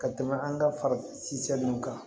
Ka tɛmɛ an ka fara kan